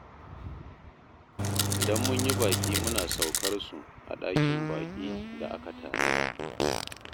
Idan mun yi baƙi muna saukar su a ɗakin baƙi da aka tanada